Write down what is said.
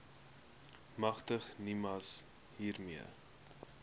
magtig nimas hiermee